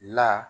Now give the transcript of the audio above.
La